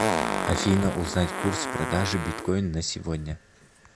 афина узнать курс продажи биткоин на сегодня